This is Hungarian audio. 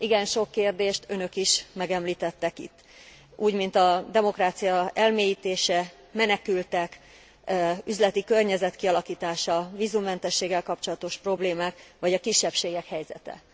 Igen sok kérdést önök is megemlítettek itt, úgymint a demokrácia elmélyítése, menekültek, üzleti környezet kialakítása, vízummentességgel kapcsolatos problémák, vagy a kisebbségek helyzete.